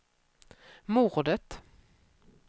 mordet